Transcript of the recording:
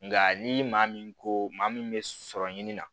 Nka ni maa min ko maa min bɛ sɔrɔ ɲini na